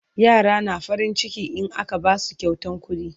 yara na farin ciki in aka Basu kyautan kuɗi